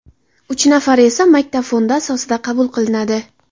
Uch nafari esa maktab fondi asosida qabul qilinadi.